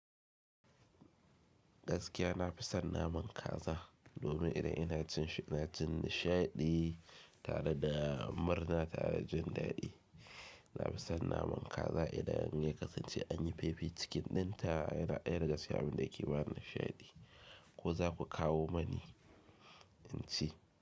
Gaskiya na fi son naman kaza domin idan ina cin shi ina jin nishaɗi tare da murna tare da jin daɗi. Na fi son naman kaza idan ya kasance an yi fefi cikin ɗinta yana ɗaya daga cikin abinda yake bani nishaɗi. Ko za ku kawo mani in ci.